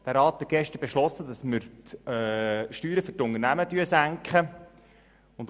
Der Rat hat gestern die Senkung der Steuern für Unternehmen beschlossen.